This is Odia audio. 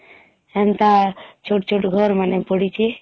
ସେନ୍ତା ଛୁଟ ଛୁଟ ଘର ମାନେ ପଡିଛି